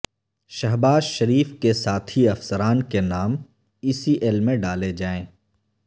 شہباز شریف کے ساتھی افسران کے نام ای سی ایل میں ڈالے جائیں